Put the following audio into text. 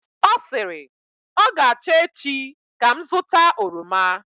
ọ sịrị, ọ ga-acha echi ka m zụta oroma